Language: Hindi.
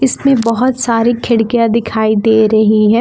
इसमें बहोत सारी खिड़कियां दिखाई दे रही है।